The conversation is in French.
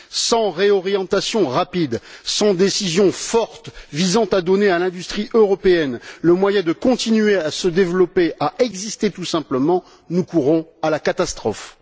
Sans réorientation rapide, sans décision forte visant à donner à l'industrie européenne le moyen de continuer à se développer, à exister tout simplement, nous courons à la catastrophe.